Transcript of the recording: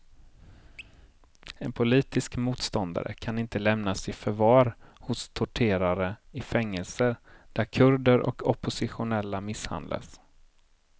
En politisk motståndare kan inte lämnas i förvar hos torterare i fängelser där kurder och oppositionella misshandlas.